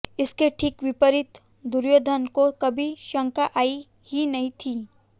इसके ठीक विपरीत दुर्योधन को कभी शंका आई ही नही थी